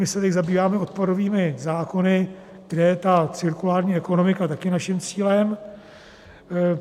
My se teď zabýváme odpadovými zákony, kde je ta cirkulární ekonomika také naším cílem.